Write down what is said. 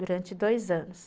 Durante dois anos.